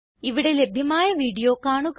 ഇവിടെ ലഭ്യമായ വീഡിയോ കാണുക